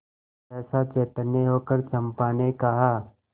सहसा चैतन्य होकर चंपा ने कहा